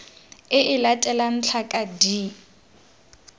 e e latelang tlhaka d